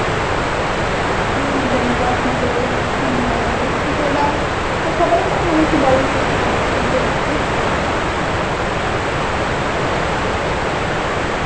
যুক্তি বিদ্যা নিয়ে পড়শোনা করলেই অনেক ভালো হবে. কিন্তু ওটা সবাই তো মানে একটু বলে যে একটু hard subject একটু